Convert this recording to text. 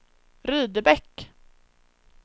Rydebäck